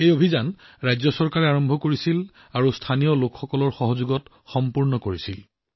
এই অভিযান ৰাজ্য চৰকাৰে আৰম্ভ কৰিছিল তাৰ লোকসকলে সম্পূৰ্ণ কৰিছিল